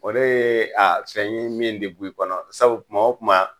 O de ye a fɛn ye min ti bu i kɔnɔ, sabu kuma wo kuma